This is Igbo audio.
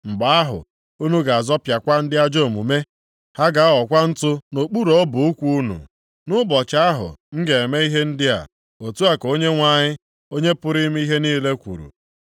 Mgbe ahụ, unu ga-azọpịakwa ndị ajọ omume. Ha ga-aghọkwa ntụ nʼokpuru ọbụ ụkwụ unu, nʼụbọchị ahụ m ga-eme ihe ndị a,” otu a ka Onyenwe anyị, Onye pụrụ ime ihe niile kwuru.